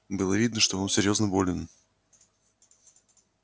было видно что он серьёзно болен